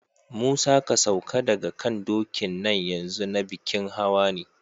Musa, ka sauka daga kan dokin nan yanzu, na bikin hawa ne!